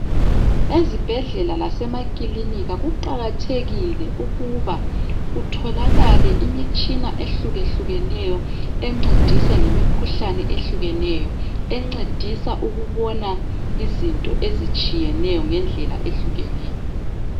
Ezibhedlela lasemaklinika kuqakathekile ukuba kutholakale imitshina ehlukehlukeneyo, encedisa ngemikhuhlane ehlukeneyo, encedisa ukubona izinto ezitshiyeneyo ngendlela ehlukeneyo.